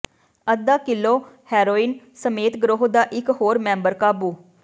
ਅੱਧਾ ਕਿੱਲੋ ਹੈਰੋਇਨ ਸਮੇਤ ਗਰੋਹ ਦਾ ਇਕ ਹੋਰ ਮੈਂਬਰ ਕਾਬੂ